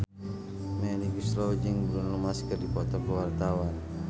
Melly Goeslaw jeung Bruno Mars keur dipoto ku wartawan